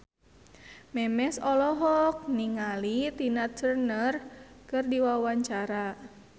Memes olohok ningali Tina Turner keur diwawancara